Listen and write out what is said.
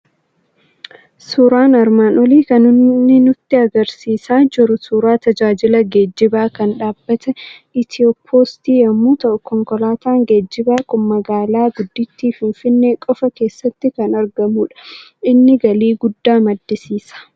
Suuraan armaan olii kan inni nutti argisiisaa jiru suuraa tajaajila geejjibaa kan dhaabbata Itiyoo Postii yommuu ta'u, konkolaataan geejjibaa kun magaala guddittii Finfinnee qofaa keessatti kan argamudha. Inni galii guddaa maddisiisa.